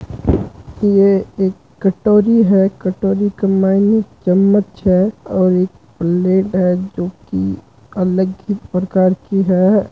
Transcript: ये एक कटोरी है कटोरी के चमच्च है और एक प्लेट है जो अलग ही प्रकार की है।